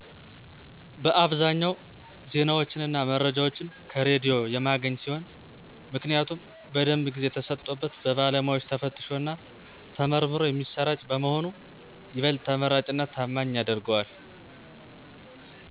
በአብዛኛው ዜናዎችን እና መረጃዎችን ከሬዲዮ የማገኝ ሲሆን ምክንያቱም በደንብ ጊዜ ተሰጥቶበት በባለሙያዎች ተፈትሾ እና ተመርምሮ የሚሰራጭ በመሆኑ ይበልጥ ተመራጭ እና ታማኝ ያደርገዋል።